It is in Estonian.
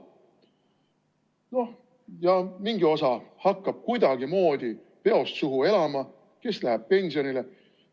No ja mingi osa hakkab kuidagimoodi peost suhu elama, osa läheb pensionile.